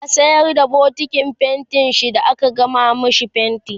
ya sayar da bokitin fainti da aka gama mashi fainti